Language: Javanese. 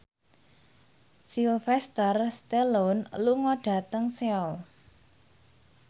Sylvester Stallone lunga dhateng Seoul